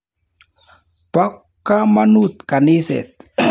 Po kamanut kaniset.